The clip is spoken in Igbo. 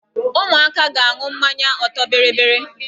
Ụmụaka ga-aṅụ mmanya ọtọ bịrịbịrị.